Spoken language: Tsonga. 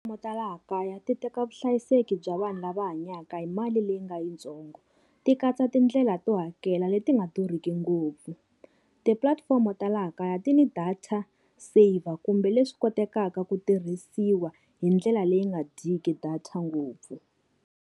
Ta laha kaya ti teka vuhlayiseki bya vanhu lava hanyaka hi mali leyi nga yitsongo, ti katsa tindlela to hakela leti nga durhiki ngopfu. Tipulatifomo ta laha kaya ti ni data saver kumbe leswi kotekaka ku tirhisiwa hi ndlela leyi nga dyiki data ngopfu.